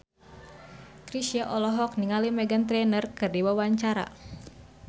Chrisye olohok ningali Meghan Trainor keur diwawancara